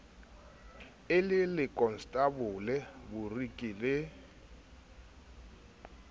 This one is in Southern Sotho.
e le lekonstabole boriki le